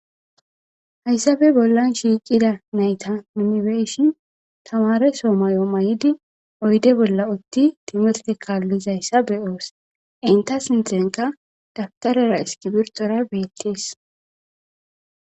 Haysafe bollan shiqida nayta nun be'ashen tamareso mayo mayidi uyde bolla uti timirte kalizaysa be'os enta sinthenakka daptarara iskibirtora betese